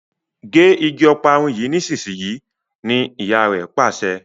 gé ìgi Ọparun yí nísìsiyìí! ní ìyá rẹ Pàṣẹ.